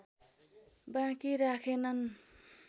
बाँकी राखेनन्